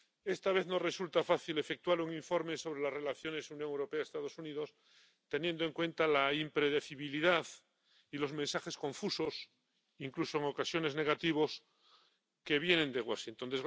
Esta vez no resulta fácil efectuar un informe sobre las relaciones Unión Europea Estados Unidos, teniendo en cuenta la impredecibilidad y los mensajes confusos —incluso en ocasiones negativos— que vienen de Washington.